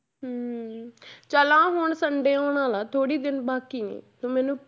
ਹਮ ਚੱਲ ਆਹ ਹੁਣ sunday ਆਉਣ ਵਾਲਾ ਥੋੜ੍ਹੀ ਦਿਨ ਬਾਕੀ ਨੇ ਤੂੰ ਮੈਨੂੰ।